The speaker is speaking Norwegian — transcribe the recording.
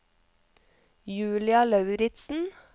Julia Lauritzen